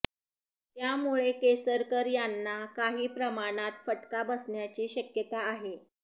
त्यामुळे केसरकर यांना काही प्रमाणात फटका बसण्याची शक्यता आहे